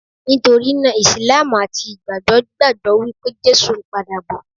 Nítorí náà, Ìsìlámù àti Ìgbàgbọ́ gbàgbọ́ wípé Jésù ń pa dà bọ̀.